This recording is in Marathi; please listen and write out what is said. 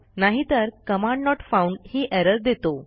नाहीतर कमांड नोट फाउंड ही एरर देतो